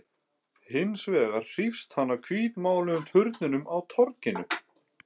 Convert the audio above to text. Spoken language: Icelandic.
Hins vegar hrífst hann af hvítmáluðum turninum á torginu.